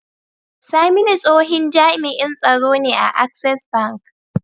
Saminu tsohin jami'in tsaro ne a access bank